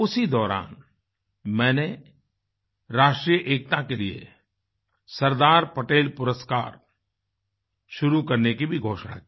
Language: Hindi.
उसी दौरान मैंने राष्ट्रीय एकता के लिए सरदार पटेल पुरस्कार शुरू करने की भी घोषणा की